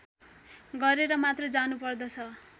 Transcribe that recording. गरेर मात्र जानुपर्दछ